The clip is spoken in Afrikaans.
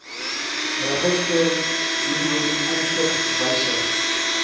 register dienooreenkomstig wysig